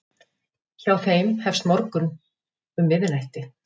Hjá þeim hefst morgunn um miðnætti.